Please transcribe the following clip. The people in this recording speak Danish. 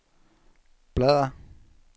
bladr